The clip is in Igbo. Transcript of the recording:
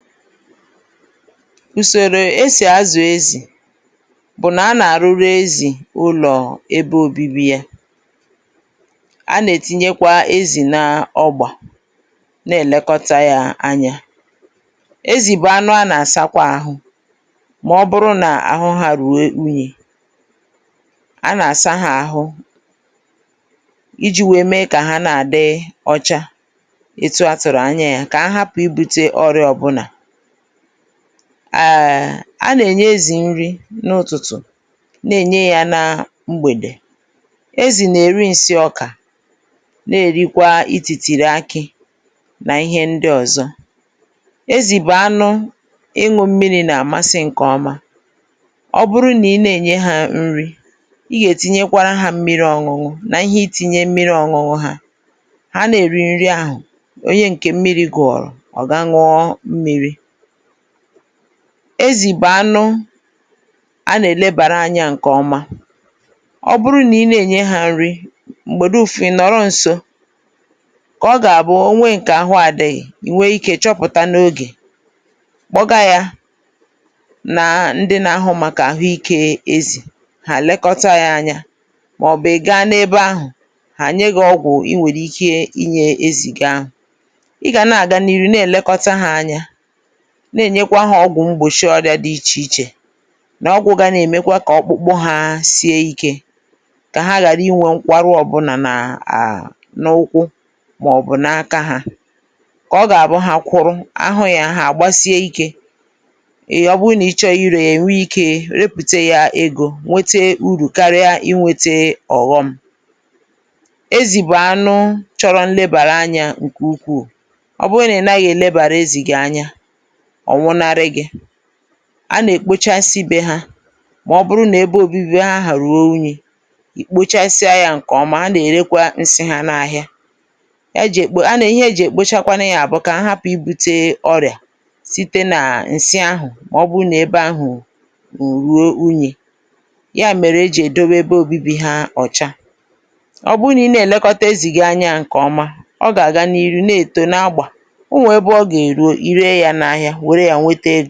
ùsòrò e sì azụ̀ ezì bụ̀ nà a nà àrụrụ ezị̀ ụlọ̀ ebe obibi. a nà ètinyekwa ezì na ọgbà, nà ẹ̀lẹkọta yā anya. ezì bụ̀ anụ a nà àsakwa ahụ, mà ọ bụrụ nà àhụ ha ruo inyī. a nà àsa ha àhụ ijī wẹ̀ẹ mẹ kà àhụ ha nà àdị ọcha etu a tụ̀rụ̀ anyā ya, kà ha hapụ̀ ibute ọrịa ọbụlà. ẹ̀ẹ̀, a nà enye ezì nri n’ụtụ̀tụ̀, nà ènye ya nri na mgbèdè. ezì nà èri nsị ọkà, nà èrikwa itìtìtrì akị̄, nà ịhẹ ndị ọ̀zọ. ezì bụ̀ anụ ịnwụ̄ mmirī nà àmasị ǹkẹ̀ ọma. ọ bụrụ nà ị nà ènye ha nri, ị gà ètinyekwara ha mmiri ọñuñụ, nà ịhẹ itīnye mmiri ọñụñụ hā. ha nà èri nri ahụ̀, onye ǹkè mmirī gụ̀rụ, ha ñụọ mmīrī. ezì bụ̀ anụ a nà èlebàra anyā ǹkè ọma. ọ bụrụ nà ị nà ènye ha nri, m̀gbè dụfụ, ị̀ nọ̀rọ nso, kà ọ gà àbụ, ọ nwẹ ǹkè àhụ adịghị, ị̀ gà àchọpụ̀ta n’ogè, kpọga y ana ǹkẹ̀ ndị na ahụ màkà àhụ ikē ezi, hà lẹkọta ya anya, mà ọ̀ bụ̀ ị̀ ga ebē ahụ̀, hà nyẹ gị ọgwụ ị gà èji wẹ nye ezì gị ahụ̀. ị gà nà àga n’ihu nà èlekọta ha anya, nà ènyekwa hā ọgwụ̄ mgbòchi ọrịā dị ichè ichè, nà ọgwụ̄ ga nà èmekwa kà ọkpụkpụ ha sie ikē, kà ha ghàra inwē mgbarụ ọbụlà n’ụkwụ, mà ọ̀ bụ̀ n’aka hā, ǹkẹ̀ ọ gà àbụ ha kwụrụ, a hụ̄ yā, hà gbasie ikē, e, ọ bụ nà ị chọrọ irē ya, è nwe ikē repùteya ego karịa I nwēte ọ̀ghọm. ezì bụ̀ anụ chọrọ nlebànye anyā ǹkè ukwù. ọ bụ nà ị̀ naghị e nebànye ezì anyā, ọ̀ nwụnarị gị̄. a nà èkpochasi bē ha, mà ọ bụrụ nà ebe obibi ha ahụ̀ ruo unyi, ìkpochasịa ya ǹkè ọma, ha nà èrekwa nsị ha n’ahịa. ịhẹ ha jì èkpochakwanụ ya bụ̀ kà ha hapụ̀ ibūte ọrị̀à, site nà ǹsị ahụ̀, mà ọ bụ nà ẹbe ahụ̀ bụ̀ ruo unyì, yà mèrè e jì èdowe ebe obibi ha ọ̀cha. ọ bụ nà ị nà ẹ̀lẹkọta ezì gi anyā ǹkẹ̀ ọma, ọ gà àga n’ihu nà èto na agbà. o nwè ebe ọ gà èru I rē ya n’ahịa, wère ya nwete egō.